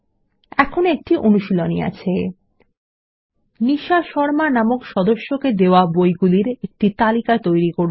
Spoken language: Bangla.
এখন একটি অনুশীলনী আছে নিশা শর্মা নামক সদস্যকে দেওয়া বইগুলির একটি তালিকা তৈরী করুন